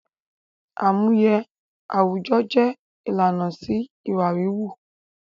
Àmúye àwùjọ jẹ ìlànà sí ìwà wíwú